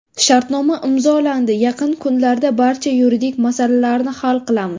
Shartnoma imzolandi, yaqin kunlarda barcha yuridik masalalarni hal qilamiz.